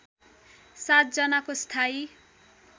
७ जनाको स्थायी